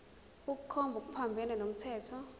ukukhomba okuphambene nomthetho